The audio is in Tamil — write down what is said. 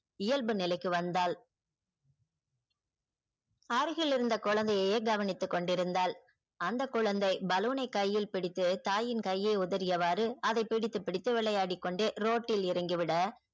இயல்பு நிலைக்கு வந்தால் அருகில் இருந்த குழந்தையை கவனித்து கொண்டிருந்தாள். அந்த குழந்தை balloon னை கையில் பிடித்து தாயின் கையை உதறியவாறு அதை பிடித்து பிடித்து விளையாடிக் கொண்டு road ல் இறங்கி விட